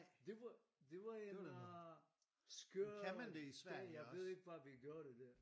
Det var det var en øh skør dag jeg ikke hvad vi gjorde det der